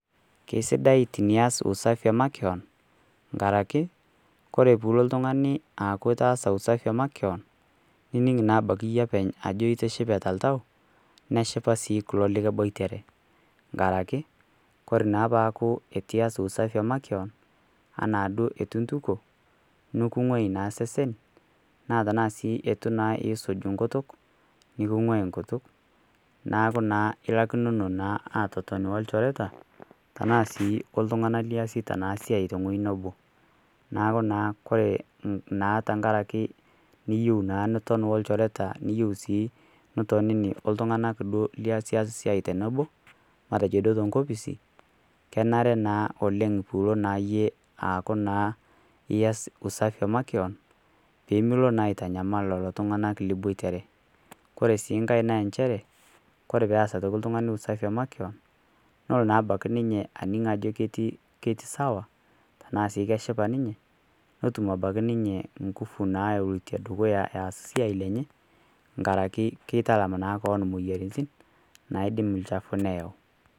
keisidai tiniaz usafi makeyon nkarake kore piilo ltungani aaku itaaza usafi emakeyon nining naa abaki yie apeny ajo itishipe te ltau neshipaa sii kulo likiboitere nkarake kore naa paaku etu ias usafi ee makeon ana duo etuu intuko nikinguai naa sesen naa tanaa naa sii etu isuj nkutuk nukunguai nkutuk naaku naa ilakinono naa atoton o ljoreta tanaa sii oltungana liasieta siai tenghoji nebo naaku kore naa tankarake niyeu naa niton o ljoreta niyeu sii nitonini oo ltungana lias ias siai tenebo matejo duo te nkopisi kenare naa oleng piilo yie aaku naa ias usafi emakeyon pimilo naa aitanyamal lolo tunganak liboitere kore sii nghai naa enchere kore toki peaz eltungani usafi emakeon nolo naa abaki ninye aning ajo keti sawa tanaa sii keshipa ninye notum abaki ninye nguvu nalotie dukuya eaz siai lenye ngarake keitalam naa koon moyaritin naidim lchafuu neyau.